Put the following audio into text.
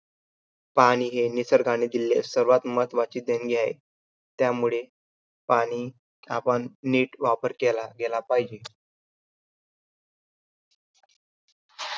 पाणी हे निसर्गाने दिलेली सर्वांत महत्वाची देणगी आहे. त्यामुळे पाणी आपण नीट वापर केला गेला पाहिजे.